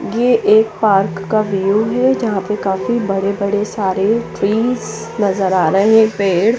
ये पार्क का व्यू है जहाँ पे काफी बड़े बड़े सारे ट्रिस नजर आ रहे है पेड़--